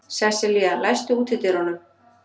Sesselía, læstu útidyrunum.